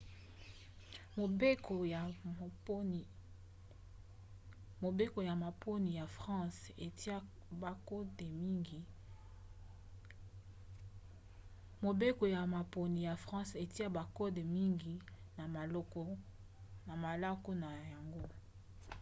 mobeko ya maponi ya france etia bakode mingi na malako na yango